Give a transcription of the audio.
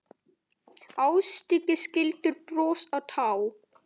Ástrík skildir bros og tár.